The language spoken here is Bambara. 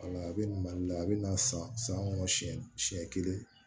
Wala a bɛ na mali la a bɛ na san san kɔnɔ siɲɛ siɲɛ kelen